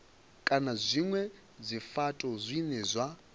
kana zwinwe zwifhato zwine zwa